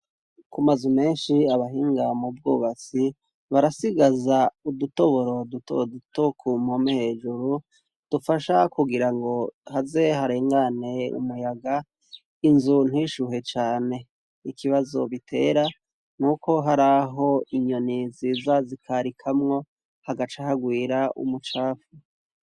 Kumazu menshi abahinga mu bwobatsi barasigaza udutoboro dutodutokumpome hejuru dufasha kugira ngo haze harengane umuyaga inzu ntishuhe cane ikibazo bitera n' uko hari aho inyoni nziza zikarikamwo hagaca aha gwera umucapfu.